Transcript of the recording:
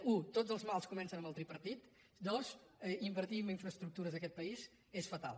u tots els mals comencem amb el tripartit dos invertir en infraestructures en aquest país és fatal